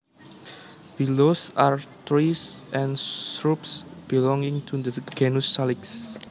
Willows are trees and shrubs belonging to the genus Salix